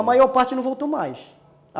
A maior parte não voltou mais.